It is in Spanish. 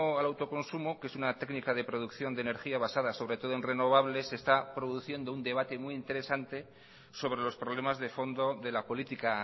al autoconsumo que es una técnica de producción de energía basada sobre todo en renovables se está produciendo un debate muy interesante sobre los problemas de fondo de la política